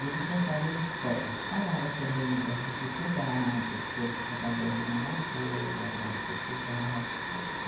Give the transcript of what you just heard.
E ele contava as histórias, falava também das dificuldades, todos trabalhando na lavoura lá em Portugal.